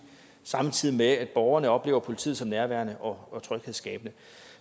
samtidig med at borgerne oplever politiet som nærværende og tryghedsskabende